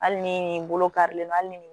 Hali ni nin bolo karilen don hali ni